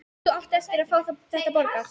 Þú átt eftir að fá þetta borgað!